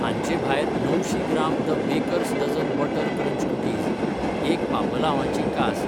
हांचे भायर णवशीं gram the baker's dozen butter crunch cookies, एक पापलांवाची कास